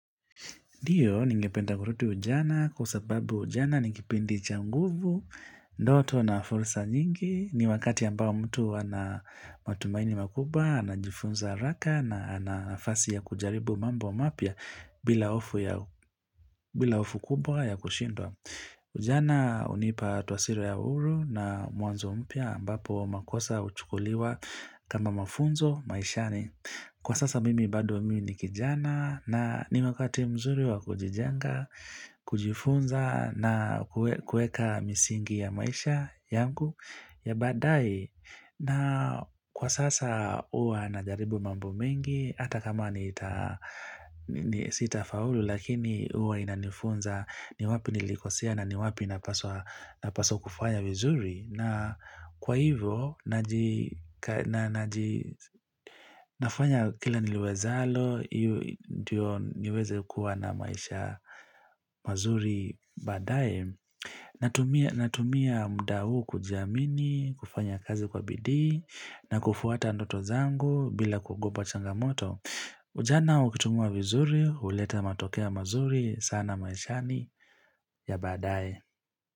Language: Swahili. Ndio, ningependa kurudi ujana kwa sababu ujana ni kipindi cha nguvu, ndoto na fursa nyingi, ni wakati ambao mtu ana matumaini makubwa, anajifunza haraka na ana nafasi ya kujaribu mambo mapya bila hofu ya bila hofu kubwa ya kushindwa. Ujana unipa taswira ya uru na mwanzo mpya ambapo makosa uchukuliwa kama mafunzo maishani. Kwa sasa mimi bado mimi ni kijana na ni wakati mzuri wa kujijenga, kujifunza na kueka misingi ya maisha yangu ya badae na kwa sasa uwa anajaribu mambo mengi hata kama ni sita faulu lakini uwa inanifunza ni wapi nilikosea na ni wapi napaswa kufanya vizuri na kwa hivyo, nafanya kila niliwezalo, ndio niweze kuwa na maisha mazuri badae. Natumia mda uu kujiamini, kufanya kazi kwa bidi, na kufuata ndoto zangu bila kuogopa changamoto. Ujana ukichungwa vizuri, uleta matokeo mazuri sana maishani ya badae.